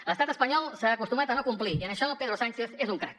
l’estat espanyol s’ha acostumat a no complir i en això pedro sánchez és un crac